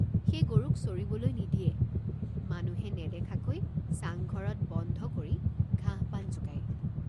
সেই গৰুক চৰিবলৈ নিদিয়ে মানুহে নেদেখাকৈ চাংঘৰত বন্ধ কৰি ঘাঁহপান যোগায়।